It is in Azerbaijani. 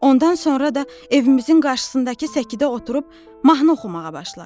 Ondan sonra da evimizin qarşısındakı səkidə oturub mahnı oxumağa başladı.